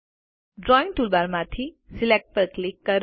drawing ટૂલબારમાંથી select પર click કરો